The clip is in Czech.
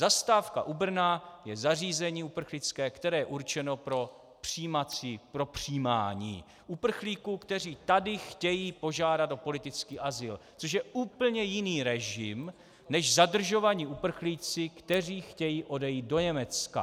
Zastávka u Brna je zařízení uprchlické, které je určeno pro přijímání uprchlíků, kteří tady chtějí požádat o politický azyl, což je úplně jiný režim než zadržovaní uprchlíci, kteří chtějí odejít do Německa.